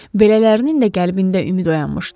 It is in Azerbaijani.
Belələrinin də qəlbində ümid oyanmışdı.